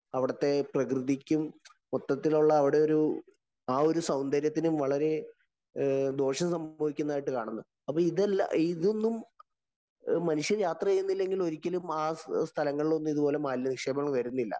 അവിടത്തെ പ്രകൃതിക്കും മൊത്തത്തിലുള്ള അവിടെ ഒരു ആ ഒരു സൗന്ദര്യത്തിനും വളരെദോഷം സംഭവിക്കുന്നതായിട്ട് കാണുന്നു. അപ്പൊ ഇതെല്ലാ ഇതൊന്നും മനുഷ്യന്‍ യാത്ര ചെയ്യുന്നില്ലെങ്കില്‍ ഒരിക്കലും ആ സ്ഥലങ്ങളിലൊന്നും ഇത് പോലെ മാലിന്യനിക്ഷേപങ്ങള്‍ വരുന്നില്ല.